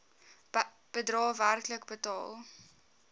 bedrae werklik betaal